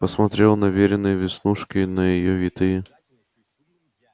посмотрел на верины веснушки на её витые